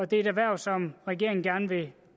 det er et erhverv som regeringen gerne vil